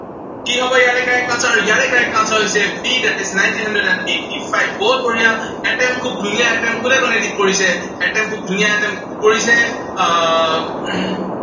কি হব ইয়াৰে correct answer আৰু ইয়াৰে correct answer হৈছে b, that is nineteen hundred and eighty five বহুত বঢ়িয়া, attempt খুব ধুনীয়া attempt কোনে কোনে কৰিছে, attempt খুব ধুনীয়া কৰিছে, আহ